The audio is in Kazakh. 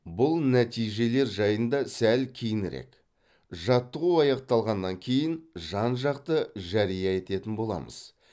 бұл нәтижелер жайында сәл кейінірек жаттығу аяқталғаннан кейін жан жақты жария ететін боламыз